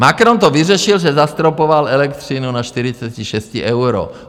Macron to vyřešil, že zastropoval elektřinu na 46 euro.